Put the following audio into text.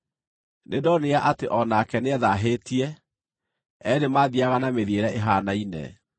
Nĩndonire atĩ o nake nĩethaahĩtie; eerĩ maathiiaga na mĩthiĩre ĩhaanaine.